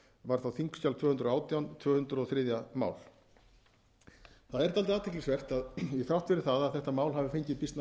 var þá þingskjali tvö hundruð og átján tvö hundruð og þriðja mál það er dálítið athyglisvert að þrátt fyrir það að þetta mál hafi fengið býsna góðar